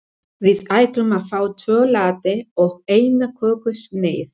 Við ætlum að fá tvo latte og eina kökusneið.